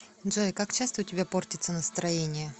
джой как часто у тебя портится настроение